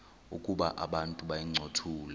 ukuba abantu bayincothule